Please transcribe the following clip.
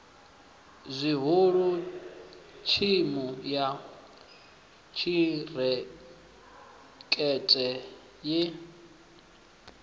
zwihulu thimu ya khirikhethe ye